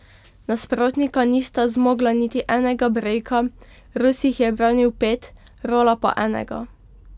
Nasprotnika nista zmogla niti enega brejka, Rus jih je ubranil pet, Rola pa enega.